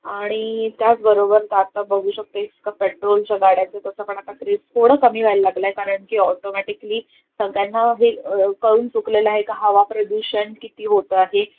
आणि त्याच बरोबर आत्ता बागू शकतो इतका पेट्रोलच्या गाड्यांच तस पण आता क्रेझ थोड कमी होयला लागलाय कारण की, ऑटोमेटिकली सगळ्यांना हे कळून चुकलेलं आहे का हवा प्रदूषण किती होत आहे,